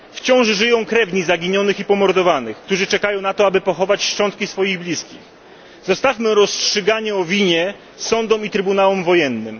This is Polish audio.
Wciąż żyją krewni zaginionych i pomordowanych, którzy czekają na to, aby pochować szczątki swych bliskich. Zostawmy rozstrzygnięcie o winie sądom i trybunałom wojennym.